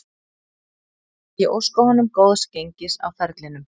Ég óska honum góðs gengis á ferlinum